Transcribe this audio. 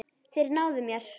Þeir náðu mér.